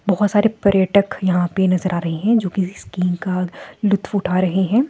बहोत सारे पर्यटक यहां पे नजर आ रहे है जो किसी स्कीम का लूत्फ उठा रहे हैं।